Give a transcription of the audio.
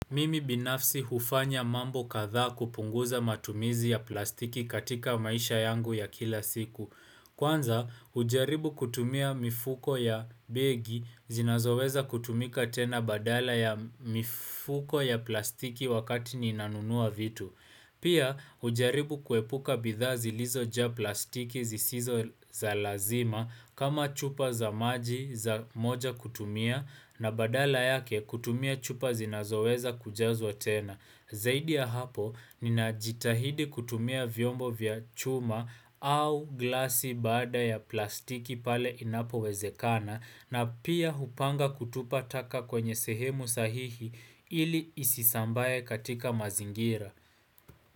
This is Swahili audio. Mimi binafsi hufanya mambo katha kupunguza matumizi ya plastiki katika maisha yangu ya kila siku. Kwanza, ujaribu kutumia mifuko ya begi zinazoweza kutumika tena badala ya mifuko ya plastiki wakati ninanunua vitu. Pia ujaribu kuepuka bidhazi lizo ja plastiki zisizo za lazima kama chupa za maji za moja kutumia na badala yake kutumia chupa zinazoweza kujazwa tena. Zaidi ya hapo nina jitahidi kutumia vyombo vya chuma au glasi baada ya plastiki pale inapo wezekana na pia hupanga kutupa taka kwenye sehemu sahihi ili isisambaye katika mazingira.